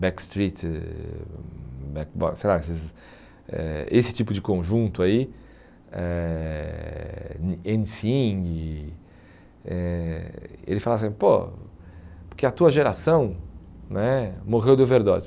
Backstreet, sei lá esses eh esse tipo de conjunto aí, eh eh ele fala assim, pô, porque a tua geração né morreu de overdose.